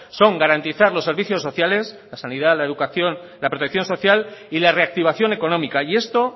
son garantizar los servicios sociales la sanidad la educación la protección social y la reactivación económica y esto